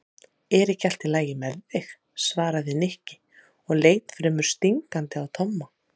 Er ekki allt lagi með þig? svaraði Nikki og leit fremur stingandi á Tomma.